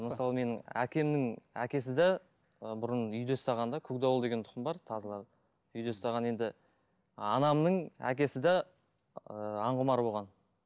мысалы менің әкемнің әкесі де ы бұрын үйде ұстаған да көкдауыл деген тұқым бар тазылардың үйде ұстаған енді анамның әкесі де ыыы аңқұмар болған